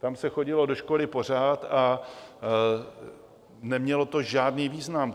Tam se chodilo do školy pořád a nemělo to žádný význam.